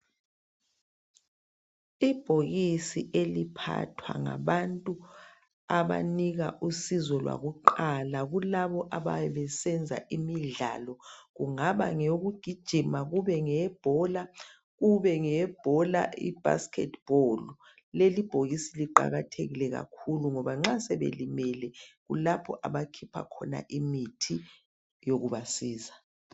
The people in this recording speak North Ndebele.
Ibhokisi eliphathwa ngabantu abanika usizo lwakuqala kulabo abayabe besenza imidlalo. Kungaba ngeyokugijima, kube ngeyebhola, kube ngeyebhola ibasketball. Leli bhokisi liqakathekile kakhulu ngoba nxa sebelimele kulapho abakhipha khona imithi yokubasiza.